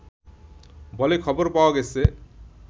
বলে খবর পাওয়া গেছে